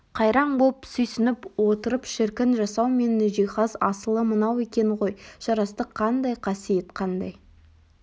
қайраң боп сүйсініп отырып шіркін жасау мен жиһаз асылы мынау екен ғой жарастық қандай қасиет қандай